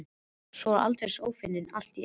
Sá var aldeilis ófeiminn allt í einu!